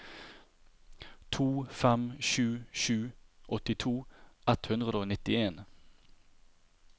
to fem sju sju åttito ett hundre og nittien